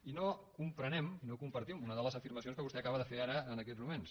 i no comprenem no compartim una de les afirmacions que vostè acaba de fer ara en aquests moments